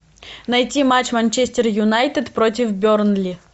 найти матч манчестер юнайтед против бернли